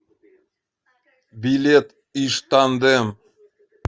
билет иж тандем